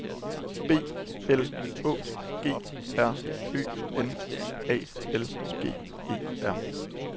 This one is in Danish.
B L Å G R Ø N A L G E R